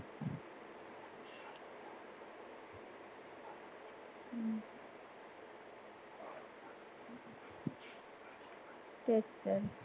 तेच तर.